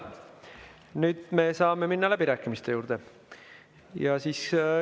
Nüüd me saame minna läbirääkimiste juurde.